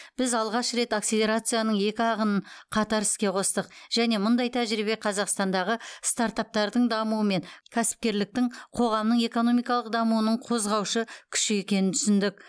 біз алғаш рет акселерацияның екі ағынын қатар іске қостық және мұндай тәжірибе қазақстандағы стартаптардың дамуы мен кәсіпкерліктің қоғамның экономикалық дамуының қозғаушы күші екенін түсіндік